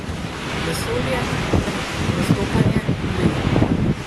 Vesolje ter prestopanje mej.